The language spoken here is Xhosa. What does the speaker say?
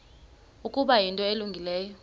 ukuba yinto elungileyo